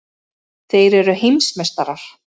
Þeir eru heimsmeistarar!!!